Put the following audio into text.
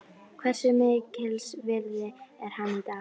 Hversu mikils virði er hann í dag?